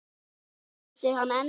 Myndi hann endast?